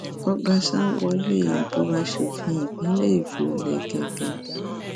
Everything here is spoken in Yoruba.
ọbaṣá wọlé ìbò asòfin ìpínlẹ èkó lẹkẹkẹ